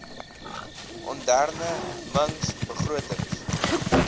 onderne mings begrotings